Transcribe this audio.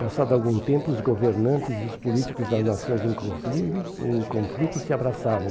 Passado algum tempo, os governantes e os políticos das nações, inclusive, em conflito, se abraçavam.